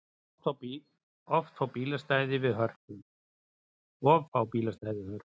Of fá bílastæði við Hörpu